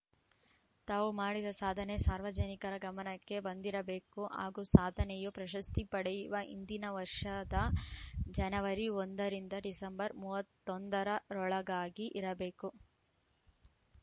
ತಾವು ಮಾಡಿದ ಸಾಧನೆ ಸಾರ್ವಜನಿಕರ ಗಮನಕ್ಕೆ ಬಂದಿರಬೇಕು ಹಾಗೂ ಸಾಧನೆಯು ಪ್ರಶಸ್ತಿ ಪಡೆಯುವ ಹಿಂದಿನ ವರ್ಷದ ಜನವರಿ ಒಂದ ರಿಂದ ಡಿಸೆಂಬರ್‌ ಮೂವತ್ತ್ ಒಂದರ ರೊಳಗಾಗಿ ಇರಬೇಕು